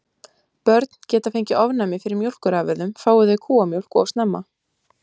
Börn geta fengið ofnæmi fyrir mjólkurafurðum fái þau kúamjólk of snemma.